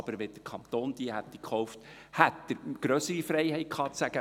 Aber wenn der Kanton sie gekauft hätte, hätte er grössere Freiheit gehabt zu sagen: